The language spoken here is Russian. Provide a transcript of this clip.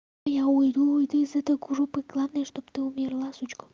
я уйду и ты из этой группы главное чтобы ты умерла сучка